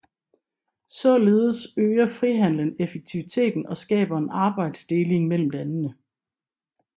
Således øger frihandelen effektiviteten og skaber en arbejdsdeling mellem landene